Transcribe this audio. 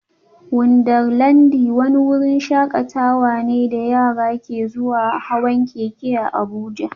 Wundarlandi wani wurin shakatawa ne da yara ke zuwa hawan keke a Abuja